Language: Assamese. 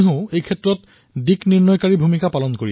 নিৰ্বনো বধ্যতে ব্যাঘ্ৰো নিৰ্ব্যঘ্নং ছিদ্যতে বনম